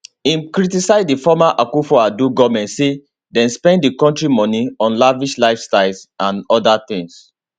im criticize di former akufoaddo goment say dem spend di kontri moni on lavish lifestyles and oda tins